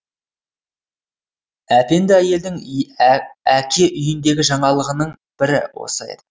әпенді әйелдің әке үйіндегі жаңалығының бірі осы еді